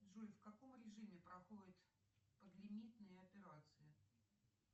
джой в каком режиме проходят подлимитные операции